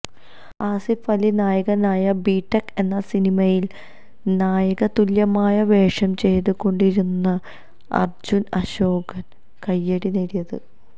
ആസിഫ് അലി നായകനായ ബിടെക് എന്ന സിനിമയില് നായക തുല്യമായ വേഷം ചെയ്തു കൊണ്ടായിരുന്നു അര്ജുന് അശോകന് കൈയ്യടി നേടിയത്